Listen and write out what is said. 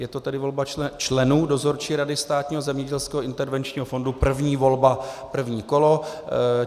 Je to tedy volba členů Dozorčí rady Státního zemědělského intervenčního fondu, první volba, první kolo.